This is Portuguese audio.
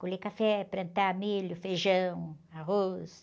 Colher café, plantar milho, feijão, arroz.